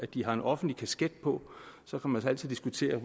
de har en offentlig kasket på så kan man altid diskutere